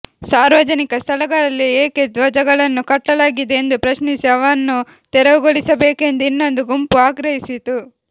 ಸಾರ್ವಜನಿಕ ಸ್ಥಳಗಳಲ್ಲಿ ಏಕೆ ಧ್ವಜಗಳನ್ನು ಕಟ್ಟಲಾಗಿದೆ ಎಂದು ಪ್ರಶ್ನಿಸಿ ಅವನ್ನು ತೆರವುಗೊಳಿಸಬೇಕೆಂದು ಇನ್ನೊಂದು ಗುಂಪು ಆಗ್ರಹಿಸಿತು